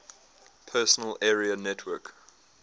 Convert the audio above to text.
personal area network